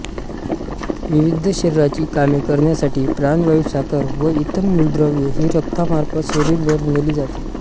विविध शरीराची कामे करण्यासाठी प्राणवायू साखर व इतर मूलद्रव्ये ही रक्तामार्फत शरीरभर नेली जातात